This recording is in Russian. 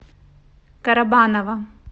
карабаново